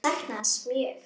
Ég sakna hans mjög.